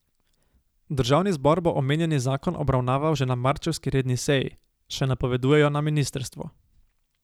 Državni zbor bo omenjeni zakon obravnaval že na marčevski redni seji, še napovedujejo na ministrstvu.